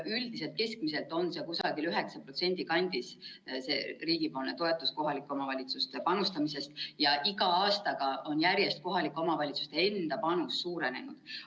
Üldiselt keskmiselt on see riigi toetus kohalike omavalitsuste panustamisest kusagil 9% kandis ja iga aastaga on järjest kohalike omavalitsuste enda panus suurenenud.